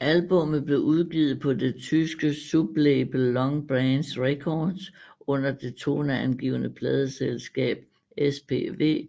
Albummet blev udgivet på det tyske sublabel Long Branch Records under det toneangivende pladeselskab SPV